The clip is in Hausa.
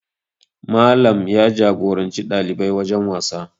Malam ya jagoranci ɗalibai wajen wasa